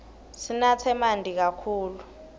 sinatse manti kakhulu